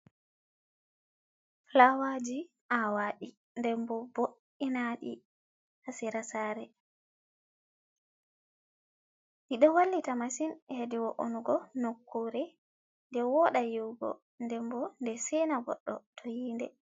Fuwaji awadi, ndembo bo’’inadi ha sera saare. Ɗi ɗo wallita masin hedi wo’onugo nokkure. Ɗe woda nyiwugo, dembo de sena goddo to yiinde.